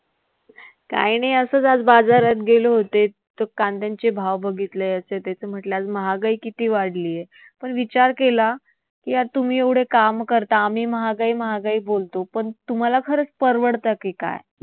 काय नाही असच आज बाजारात गेले होते. तर कांद्यांचे भाव बघितले. याचे, तेचे म्हंटले आज महागाई किती वाढलीय. पण विचार केला की यार, तुम्ही एवढं काम करता, आम्ही महागाई महागाई बोलतो पण तुम्हाला खरंच परवडत की काय?